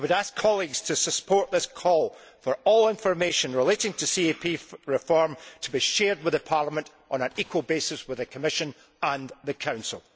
I would ask colleagues to support this call for all information relating to CAP reform to be shared with Parliament on an equal basis with the Commission and the Council.